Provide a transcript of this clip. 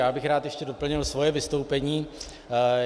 Já bych rád ještě doplnil svoje vystoupení.